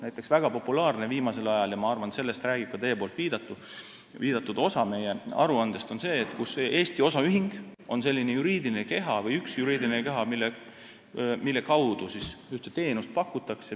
Näiteks on väga populaarne viimasel ajal see – ja ma arvan, et sellest räägib ka teie viidatud osa meie aruandes –, et Eesti osaühing on selline juriidiline keha või üks juriidiline keha, mille kaudu ühte teenust pakutakse.